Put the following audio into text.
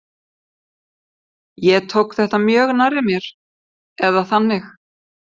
Ég tók þetta mjög nærri mér eða þannig.